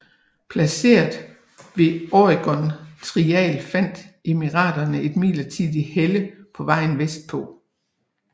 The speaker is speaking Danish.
Placeret ved Oregon Trial fandt emigranter et midlertidigt helle på vejen vestpå